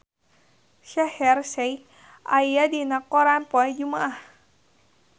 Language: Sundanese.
Shaheer Sheikh aya dina koran poe Jumaah